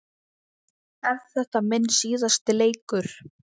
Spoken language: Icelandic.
Er þetta minn síðasti leikur?